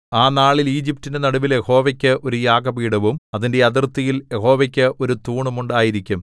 ആ നാളിൽ ഈജിപ്റ്റിന്റെ നടുവിൽ യഹോവയ്ക്ക് ഒരു യാഗപീഠവും അതിന്റെ അതിർത്തിയിൽ യഹോവയ്ക്ക് ഒരു തൂണും ഉണ്ടായിരിക്കും